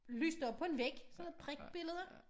Lyst op på en væg sådan noget prikbilleder